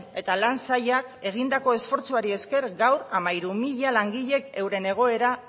eta lan sailak egindako esfortzuari esker gau hamairu mila langilek euren egoera